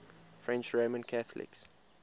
french roman catholics